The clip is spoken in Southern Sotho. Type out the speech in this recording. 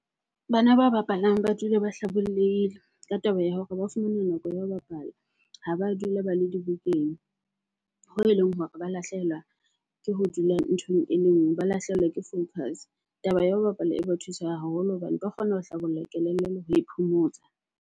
Bana ba bapalang ba dula ba hlabollehile ka taba ya hore ba fumana nako ya ho bapala, ha ba dula ba le dibukeng hoo eleng hore ba lahlehelwa ke ho dula nthong e le nngwe, ba lahlehelwa ke focus. Taba ya ho bapala e ba thusa haholo hobane ba kgona ho hlabolla kelello le ho e phomotsa.